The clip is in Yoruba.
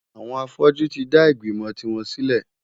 Àwọn afọ́jú tí dá ìgbìmò tiwọn sílẹ̀.